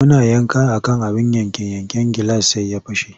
Muna yanka a kan abin yanke-yanken gilas sai ya fashe.